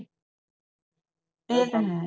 ਏ ਤਾਂ ਹੈ